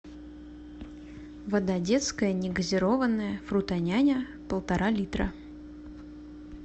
вода детская негазированная фрутоняня полтора литра